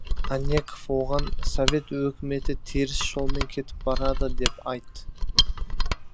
анненков оған совет өкіметі теріс жолмен кетіп барады деп айт